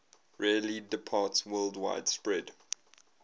rarely departsworldwide spread